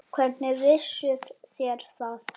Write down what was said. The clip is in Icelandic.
Hvernig vissuð þér það?